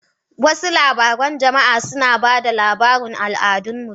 Wasu labarun jama'a suna ba da labarin al'adun mutum.